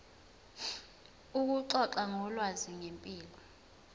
ukuxoxa ngolwazi ngempilo